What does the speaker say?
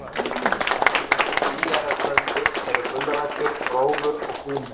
Dæmi um tvíærar plöntur eru gulrætur, rófur og kúmen.